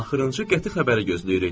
Axırıncı qəti xəbəri gözləyirik.